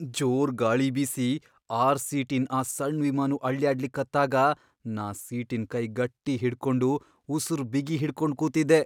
ಜೋರ್ ಗಾಳಿ ಬೀಸಿ ಆರ್ ಸೀಟಿನ್ ಆ ಸಣ್ ವಿಮಾನು ಅಳ್ಯಾಡ್ಲಿಕತ್ತಾಗ ನಾ ಸೀಟಿನ್ ಕೈ ಗಟ್ಟಿ ಹಿಡ್ಕೊಂಡು ಉಸರ್ ಬಿಗಿ ಹಿಡ್ಕೊಂಡ್ ಕೂತಿದ್ದೆ.